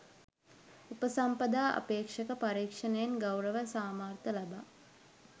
උපසම්පදා අපේක්‍ෂක පරීක්‍ෂණයෙන් ගෞරව සාමාර්ථ ලබා